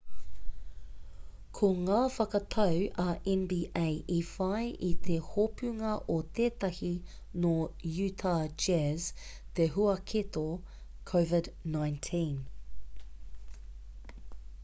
ko ngā whakatau a nba i whai i te hopunga o tētahi nō uta jazz te huaketo covid-19